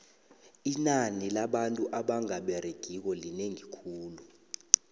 inani labantu abanga beregiko linengi khulu